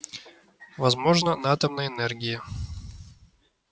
возможно на атомной энергии